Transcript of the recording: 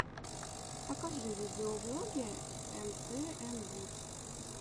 покажи видеоблоги эмтээмвуд